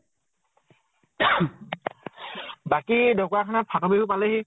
বাকী ঢ্কুৱাখানাৰ ফাতৰ বিহু পালেহি।